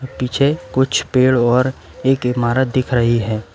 पीछे कुछ पेड़ और एक इमारत दिख रही है।